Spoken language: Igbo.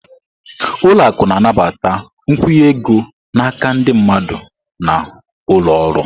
Ụlọ akụ na-anabata nkwụnye ego n'aka ndị mmadụ na ụlọ ọrụ.